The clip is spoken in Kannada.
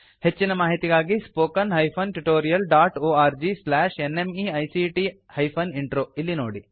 ಹೆಚ್ಚಿನ ಮಾಹಿತಿಗಾಗಿ spoken hyphen tutorial dot org slash NMEICT hyphen intro ಇಲ್ಲಿ ನೋಡಿ